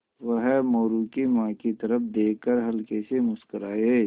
वह मोरू की माँ की तरफ़ देख कर हल्के से मुस्कराये